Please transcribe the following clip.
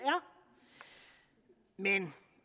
er men